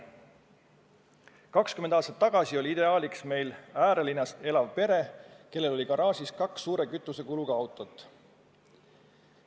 20 aastat tagasi oli meil ideaaliks äärelinnas elav pere, kellel on garaažis kaks suure kütusekuluga autot.